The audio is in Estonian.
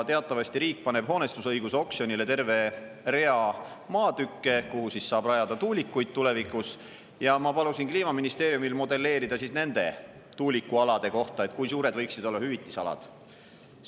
Teatavasti riik paneb hoonestusõiguse oksjonile terve rea maatükke, kuhu saab rajada tuulikuid tulevikus, ja ma palusin Kliimaministeeriumil modelleerida, kui suured võiksid olla hüvitusalad nende tuulikualade puhul.